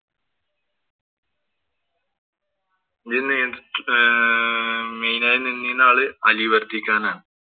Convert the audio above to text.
main ആയി നിന്നിയുന്ന ആള് അലി വര്‍ത്തിഖാന്‍ ആണ്.